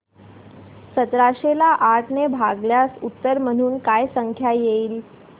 सतराशे ला आठ ने भागल्यास उत्तर म्हणून काय संख्या येईल